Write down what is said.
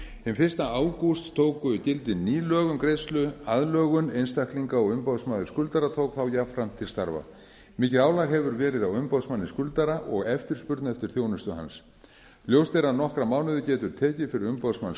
hinn fyrsta ágúst tóku gildi ný lög um greiðsluaðlögun einstaklinga og umboðsmaður skuldara tók þá jafnframt til starfa mikið álag hefur verið á umboðsmanni skuldara og eftirspurn eftir þjónustu hans ljóst er að nokkra mánuði getur tekið fyrir umboðsmann